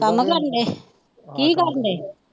ਕੰੰਮ ਕਰਨ ਦੇਂਂ ਕੀ ਕਰਦੇਂ